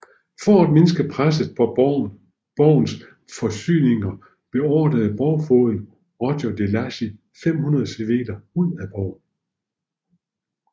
For at mindske presset på borgens forsyninger beordrede borgfogeden Roger de Lacy 500 civile ud af borgen